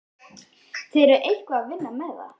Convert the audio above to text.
Þið eruð eitthvað að vinna með það?